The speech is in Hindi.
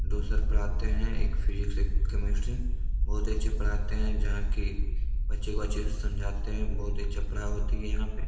दो सर पढ़ाते हैं एक फिसिक्स एक केमिस्ट्री बहुत अच्छा पढ़ाते हैं जहाँ के बच्चे को अच्छे से समझाते हैं बहुत अच्छी पढ़ाई होती है।